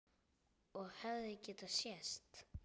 Og hefði getað sést.